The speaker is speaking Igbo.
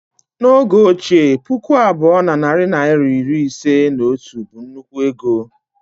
N' oge ochie, puku abụọ na narị naịra iri ise na otu bu nnukwu ego